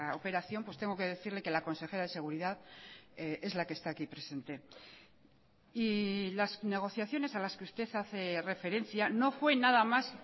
operación pues tengo que decirle que la consejera de seguridad es la que está aquí presente y las negociaciones a las que usted hace referencia no fue nada más